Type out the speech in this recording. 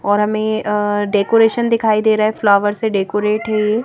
और हमें अ डेकोरेशन दिखाई दे रहा है फ्लावर्स से डेकोरेट है ये--